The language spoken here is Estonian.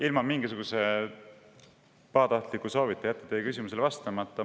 Ilma mingisuguse pahatahtliku soovita jätan teie küsimusele vastamata.